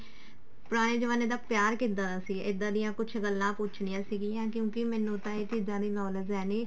ਪੁਰਾਣੇ ਜਮਾਨੇ ਦਾ ਪਿਆਰ ਕਿੱਦਾਂ ਦਾ ਸੀ ਇੱਦਾਂ ਦੀਆਂ ਕੁਛ ਗੱਲਾਂ ਪੁੱਛਨੀਆਂ ਸੀਗੀਆਂ ਕਿਉਂਕਿ ਮੈਨੂੰ ਤਾਂ ਇਹ ਚੀਜ਼ਾਂ ਦੀ knowledge ਹੈ ਨੀ